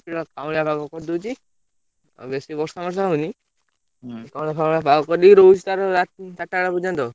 ସେଇଭଳିଆ କାଉଁଳିଆ ପାଗ କରିଦଉଛି ଆଉ ବେଶୀ ବର୍ଷା ଫର୍ଷା ହଉନି କାଉଁଳିଆ ଫାଉନଳିଆ ପାଗ କରିଦେଇକି ରହୁଛି ତାର ଚାରିଟା ବେଳ ପର୍ଯ୍ୟନ୍ତ ଆଉ।